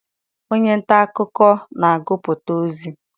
Onye nta akụkọ na-agụpụta ozi.